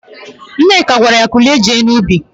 Nneka gwara ya, "kulie jee n'ubi"!